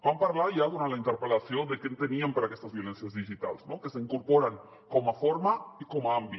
vam parlar ja durant la interpel·lació de què enteníem per aquestes violències digitals no que s’incorporen com a forma i com a àmbit